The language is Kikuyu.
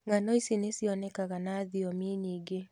Ng'ano ici nĩ cionekaga na thiomi nyingĩ.